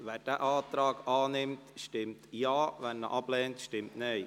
Wer diesen Antrag annimmt, stimmt Ja, wer diesen ablehnt, stimmt Nein.